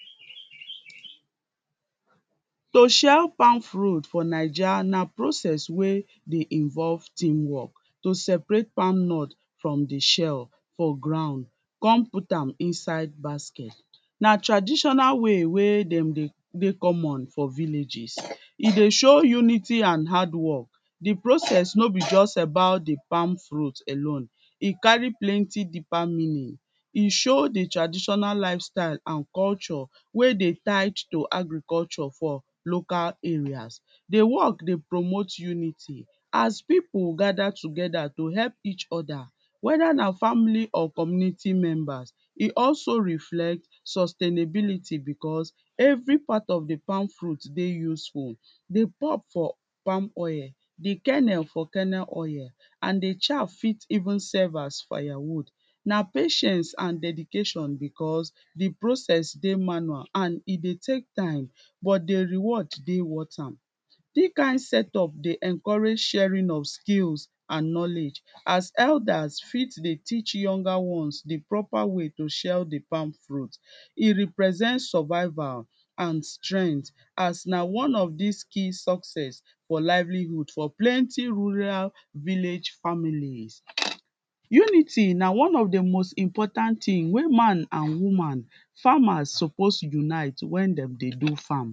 To shell palm fruit for Naija na process wey dey involve team work To separate palm nut from di shell for ground come put am inside basket Na traditonal way wey dem dey common for villages. E dey show unity and hard work Di process no be just about di palm fruit alone. E carry plenty ---- E show di traditional lifestyle and culture wey dey tied to agriculture for local areas. Di work dey promote unity as people gather together to help each other whether na family or community members. E also reflect sustainability because Every part of di palm fruit dey useful. Di pulp for di palm oil di kernel for kernel oil and shaft fit even serve as firewood na patience and dedication because di process dey manual and e dey take time but di reward dey worth am. Dis kind setup dey encourage sharing of skills and knowledge as elders fit dey teach younger ones di proper way to shell di palm fruit E represent survival and strength as na one of dis key success for livelihood for plenty rural village families Unity na one of di most important thing wey man and woman farmers suppose unite wen dem dey do farm